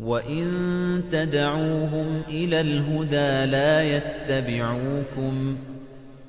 وَإِن تَدْعُوهُمْ إِلَى الْهُدَىٰ لَا يَتَّبِعُوكُمْ ۚ